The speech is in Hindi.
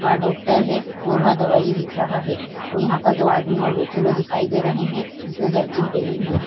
वह डॉक्टर है और वह दवाई लिख रहा है और यहाँ पर दो आदमी और बैठे हुए दिखाई दे रहे हैं जिसने जरकिन पहनी हुई --